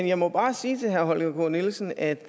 jeg må bare sige til herre holger k nielsen at